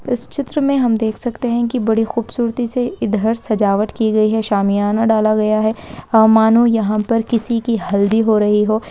इस चित्र में हम देख सकते हैं की बड़ी खूबसूरती से इधर सजावट की गई है शामियाना डाला गया है मानो यहाँ पर किसी की हल्दी हो रही हो।